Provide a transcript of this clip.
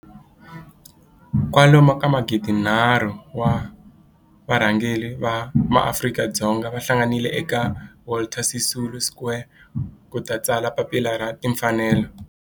kwalomu ka magidi nharhu,3 000 wa varhangeri va maAfrika-Dzonga va hlanganile eka Walter Sisulu Square ku ta tsala Papila ra Tinfanelo.